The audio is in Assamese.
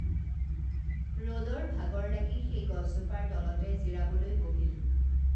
ৰদৰ ভাগৰ লাগি সেই গছজোপাৰ তলতে জিৰাবলৈ বহিল